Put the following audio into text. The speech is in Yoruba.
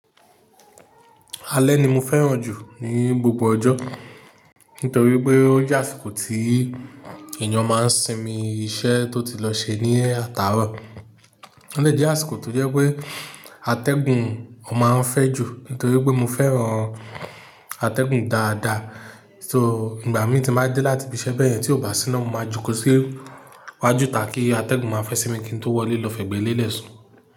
Alẹ́ ni mo fẹ́ràn jù ní gbogbo ọjọ́, nítorí pé ó jẹ́ àsìkò tí èèyàn máa ń sinmi iṣẹ́ tó ti lọ ṣe ní àtàárọ̀. Ó dè jẹ́ àsìkò tó jẹ́ pé atẹ́gùn ò máa ń fẹ́ jù, nítorí pé mo fẹ́ràn atẹ́gùn dáadáa. So, ìgbà mi tí máa dé láti fi bẹ́ẹ̀ yẹn tí ò bá sí ná, mo máa jókòó sí iwájú ìta kí atẹ́gùn máa fẹ́ sinmi kí n tó wọlé lọ fẹ́gbẹ́lelẹ̀ sùn.